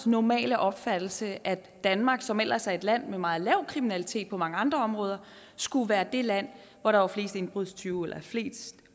normale opfattelse at danmark som ellers er et land med meget lav kriminalitet på mange andre områder skulle være det land hvor der var flest indbrudstyve eller i flest